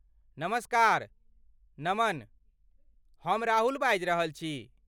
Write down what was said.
नमस्कार, नमन! हम राहुल बाजि रहल छी।